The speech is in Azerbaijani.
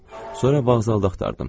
Sonra vağzalda axtardım.